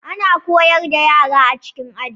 Ana koyar da yara a cikin Aji